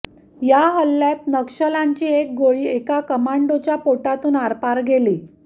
या हल्ल्यात नक्षल्यांची एक गोळी एका कमांडोच्या पिटुतून आरपार गेली